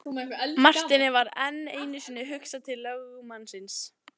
Marteini varð enn einu sinni hugsað til lögmannsins.